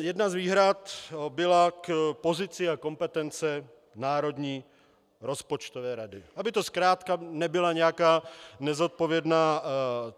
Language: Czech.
Jedna z výhrad byla k pozici a kompetence Národní rozpočtové rady, aby to zkrátka nebyla nějaká nezodpovědná